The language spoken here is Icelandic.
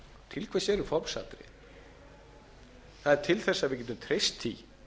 til hvers eru formsatriði þau eru til þess að við getum treyst því